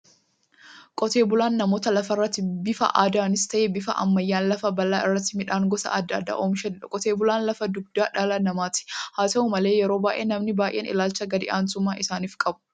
Qotee bulaan namoota lafarratti bifa aadaanis ta'ee bifa ammayyaan lafa bal'aa irratti midhaan gosa adda addaa oomishaniidha. Qotee bulaan lafa dugdaa dhala namaati. Haata'u malee yeroo baay'ee namoonni baay'een ilaalcha gad-aantummaa isaanif qabu.